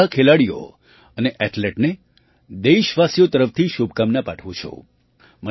હું બધા ખેલાડીઓ અને એથ્લેટને દેશવાસીઓ તરફથી શુભકામના પાઠવું છું